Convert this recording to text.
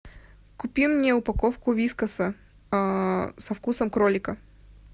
купи мне упаковку вискаса со вкусом кролика